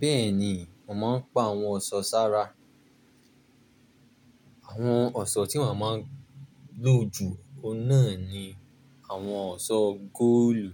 Bẹ́ẹ̀ni, mo máa ń pa ohun ọ̀ṣọ́ ṣara. Àwọn ọ̀ṣọ́ tí mo máa ń lò jù náà ni àwọn ọ̀ṣọ́ góòlù.